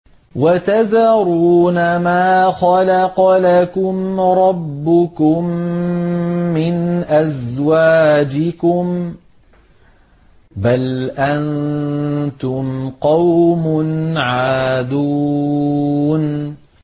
وَتَذَرُونَ مَا خَلَقَ لَكُمْ رَبُّكُم مِّنْ أَزْوَاجِكُم ۚ بَلْ أَنتُمْ قَوْمٌ عَادُونَ